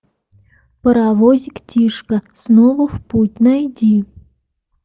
паровозик тишка снова в путь найди